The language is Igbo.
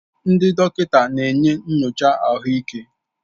Ndị dọkịta na-enye nyocha ahụike